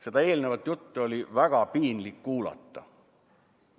Seda eelnevat juttu oli väga piinlik kuulata.